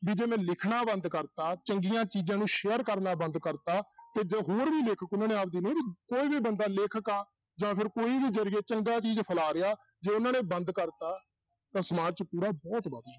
ਵੀ ਜੇ ਮੈਂ ਲਿਖਣਾ ਬੰਦ ਕਰ ਦਿੱਤਾ, ਚੰਗੀਆਂ ਚੀਜ਼ਾਂ ਨੂੰ share ਕਰਨਾ ਬੰਦ ਕਰ ਦਿੱਤਾ ਹੋਰ ਵੀ ਲੇਖਕ ਉਹਨਾਂ ਨੇ ਆਪਦੀ ਕੋਈ ਵੀ ਬੰਦਾ ਲੇਖਕ ਆ, ਜਾਂ ਫਿਰ ਕੋਈ ਵੀ ਜ਼ਰੀਏ ਚੰਗਾ ਚੀਜ਼ ਫੈਲਾਅ ਰਿਹਾ, ਜੇ ਉਹਨਾਂ ਨੇ ਬੰਦ ਕਰ ਦਿੱਤਾ, ਤਾਂ ਸਮਾਜ 'ਚ ਕੂੜਾ ਬਹੁਤ